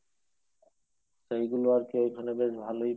সেইগুলো আরকি ওইখানে বেশ ভালোই